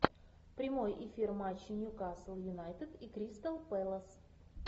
прямой эфир матча ньюкасл юнайтед и кристал пэлас